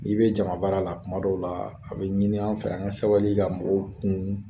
N'i bɛ jamana baara la tuma dɔw laa a bɛ ɲini an fɛ an ŋa sabali ka mɔgɔw kun